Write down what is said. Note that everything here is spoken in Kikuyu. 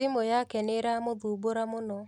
Thimũ yake nĩiramũthumbũra mũno